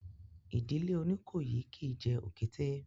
Ìdílé Oníkòyí kìí jẹ òkété